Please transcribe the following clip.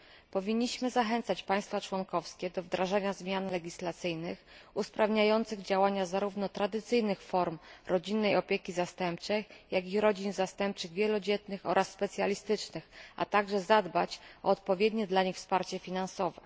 Powinniśmy zachęcać państwa członkowskie do wdrażania zmian legislacyjnych usprawniających działania zarówno tradycyjnych form rodzinnej opieki zastępczej, jak i rodzin zastępczych wielodzietnych oraz specjalistycznych, a także zadbać o odpowiednie dla nich wsparcie finansowe.